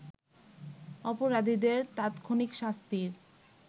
অপরাধীদের তাৎক্ষণিক শাস্তির